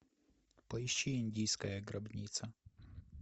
поищи индийская гробница